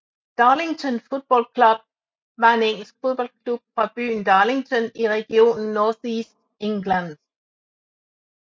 Darlington Football Club var en engelsk fodboldklub fra byen Darlington i regionen North East England